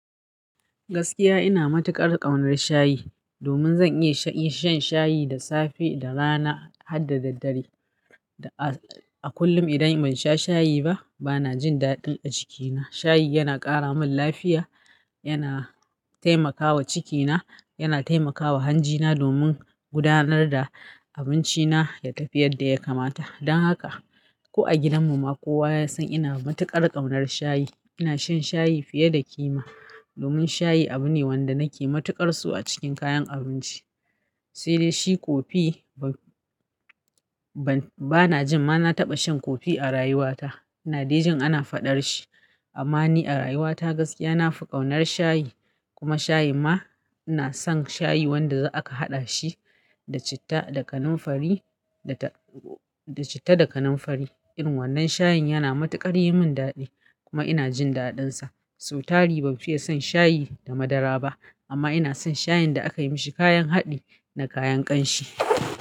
Gaskiya ina matuƙar ƙaunar shayi, domin zan iya sha, iya shan shayi da safe, da rana har da daddare. Da a kullum idan ban sha shayi ba, bana jin daɗin a cikina. Shayi yana ƙara min lafiya, yana taimakawa cikina, yana taimakawa hanjina domin gudanar da abinci na ya tafi yadda ya kamata. Don haka, ko a gidan mu ma kowa ya san ina matuƙar ƙaunar shayi. Ina shan shayi fiye da kima domin shayi abu ne wanda nake matuƙar so a cikin kayan abinci. Sai dai shi kofi ban, bana jin ma na taɓa shan kofi a rayuwa ta. Na de jin ana faɗar shi amma ni a rayuwa ta gaskiya na fi ƙaunar shayi. Kuma shayi ma ina son shayi wanda za a ka haɗa shi da citta da kanamfari, da citta da kanamfari. Irin wannan shayin yana matuƙar yi min daɗi kuma ina jin daɗin sa. So tari ban fiye son shayi da madara ba amma ina son shayin da aka yi mashi kayan haɗi da kayan ƙanshi.